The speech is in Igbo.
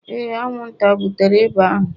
Ee, anwụnta butere ịba ahụ